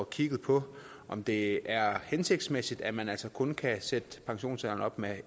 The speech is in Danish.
kigget på om det er hensigtsmæssigt at man altså kun kan sætte pensionsalderen op med